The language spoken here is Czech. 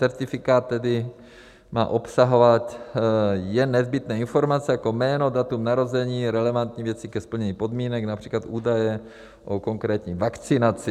Certifikát tedy má obsahovat jen nezbytné informace jako jméno, datum narození, relevantní věci ke splnění podmínek, například údaje o konkrétní vakcinaci.